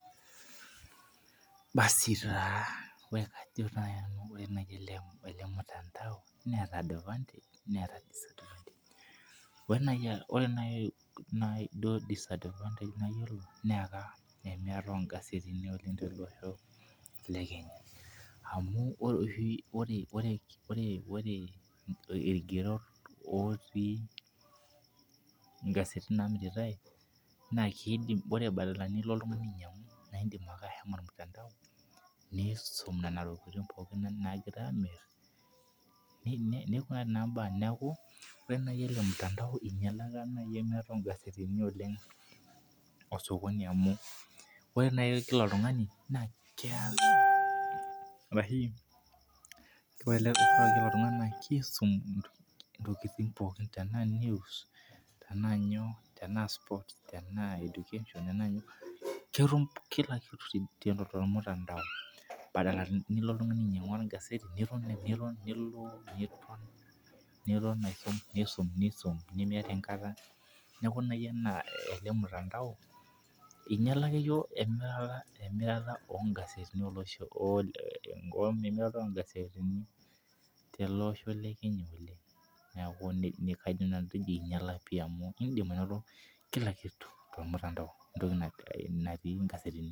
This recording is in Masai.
Basi taa ore naaji ele mutandao neeta advantage neeta disadvantage .ore naaji duo disadvantage nayiolo naa enemirata oo gasetini oleng tolosho le kenya. amj ore oshi ore ilkigerot otii, ngasetini naamiritae na kidim ore badala nilo oltungani ainyiangu naa idim nilo .niisum Nena tokitin pookin naagira aamir. neku naa mbaa neeku, ore naaji ele mutandao ingialaka naaji emirata ok gasetini oleng, osokoni amu ore naaji Kila oltungani naa kes ore Kila oltungani naa kisumi ntokitin pookin .tenaa news tenaa sports, tenaa education tenaa nyoo. ketum Kila kitu tolmutandao badala nilo oltungani ainyiangu, egaseti nilo niton, aisum nisum. nemiata enkata. neeku ore ele mutandao ,engiala emirata oo gasetini tele Osho le Kenya oleng.